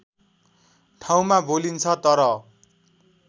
ठाउँमा बोलिन्छ तर